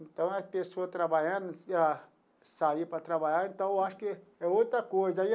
Então a pessoa trabalhando, ah sair para trabalhar, então eu acho que é outra coisa aí.